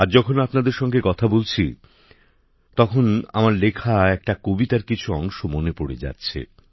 আজ যখন আপনাদের সঙ্গে কথা বলছি তখন আমার লেখা একটি কবিতার কিছু অংশ মনে পড়ে যাচ্ছে